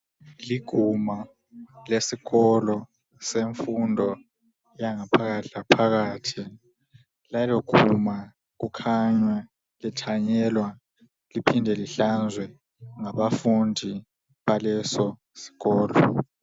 Liguma lesikolo semfundo yangaphakathi laphakathi. Lelo guma kukhanya lithanyelwa, liphinde lihlanzwe ngabafundi baleso sikolo.